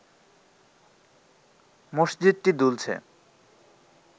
মসজিদটি দুলছে